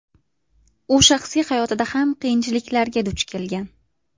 U shaxsiy hayotida ham qiyinchiliklarga duch kelgan.